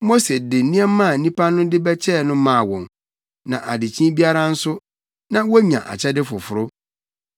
Mose de nneɛma a nnipa no de bɛkyɛɛ no maa wɔn, na adekyee biara nso, na wonya akyɛde foforo.